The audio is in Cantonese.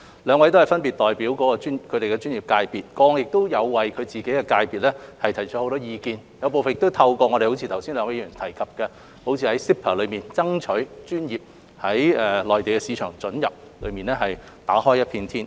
兩位分別代表其專業界別，過往亦有為其界別提出很多意見，正如剛才兩位議員提及在 CEPA 中，爭取專業於內地市場准入方面打開一片天。